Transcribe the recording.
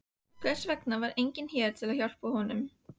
Hvers vegna var enginn hér til að hjálpa honum?